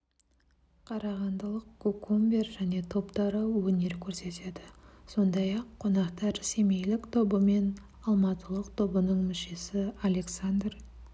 қарағандылық кукумбер және топтары өнер көрсетеді сондай-ақ қонақтар семейлік тобы мен алматылық тобының мүшесі александр